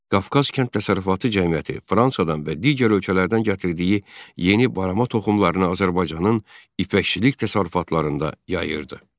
Qafqaz Kənd Təsərrüfatı Cəmiyyəti Fransadan və digər ölkələrdən gətirdiyi yeni barama toxumlarını Azərbaycanın ipəkçilik təsərrüfatlarında yayırdı.